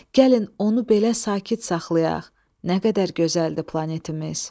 Gəlin onu belə sakit saxlayaq, nə qədər gözəldir planetimiz!